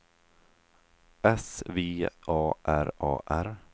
S V A R A R